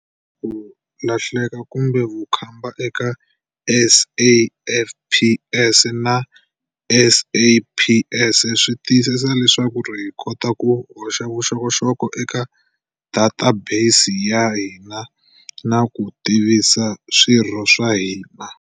Ku lahleka kumbe vukhamba eka SAFPS na SAPS swi tiyisisa leswaku hi kota ku hoxa vuxokoxoko eka databesi ya hina na ku tivisa swirho swa hina.